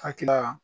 Akila